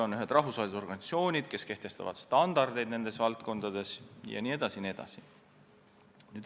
On olemas rahvusvahelised organisatsioonid, kes kehtestavad standardeid nendes valdkondades, jne.